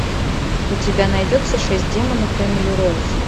у тебя найдется шесть демонов эмили роуз